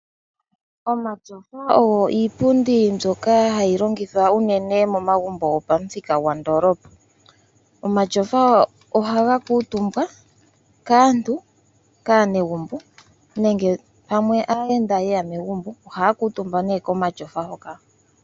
Omatyofa ogo iipundi mboyka hayi longithwa unene momagumbo go pamuthika gwandoolopa. Omatyofa ohaga kutumbwa kaantu kaanegumbo nenge pamwe aayenda yeya megumbo ohaya kutumba ne komatyofa hoka.